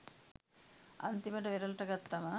අන්තිමට වෙරලට ගත්තම